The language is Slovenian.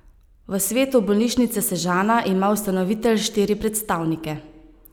V svetu Bolnišnice Sežana ima ustanovitelj štiri predstavnike.